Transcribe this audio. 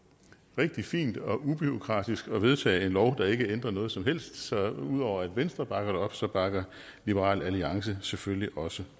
rigtig fint og ubureaukratisk at vedtage en lov der ikke ændrer noget som helst så ud over at venstre bakker det op så bakker liberal alliance selvfølgelig også